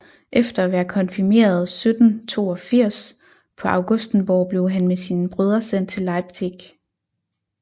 Efter at være konfirmeret 1782 på Augustenborg blev han med sine brødre sendt til Leipzig